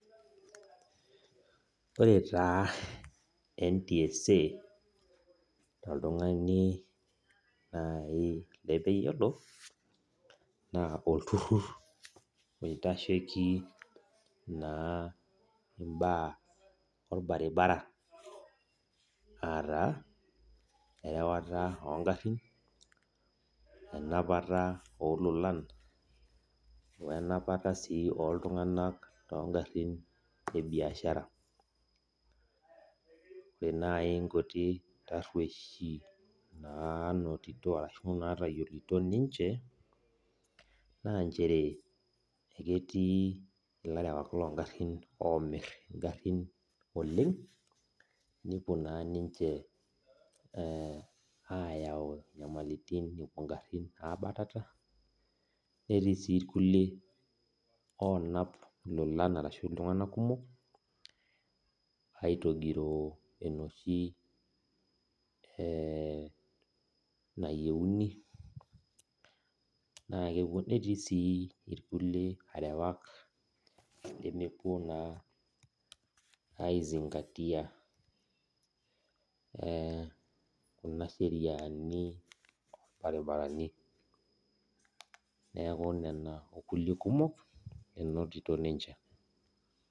Ore taa ntsa toltungani nai lemeyiolo na olturur na outasheki mbaa orbaribara a enapata ongarin, enamapata ololan wenapata si oltunganak tesiai ebiashara ore nai nkutik natayiolito ninche na nchere ketii larewakblongarin omir ngarin oleng nepuo na ninche ayau nyamalitin epuo ninche abatata netiibsinrkulie onap lolan ashu ltunganak kumok aitogiroo enoshi nayieuni, netiibsi rkulie arewak lemepuo na aizingatia kuna sheriani orbaribarani neaku naa kuna nkumok enotito ninche.